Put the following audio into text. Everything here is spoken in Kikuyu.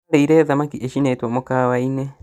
Tũrarĩire thamaki icinĩtwo mũkawa-inĩ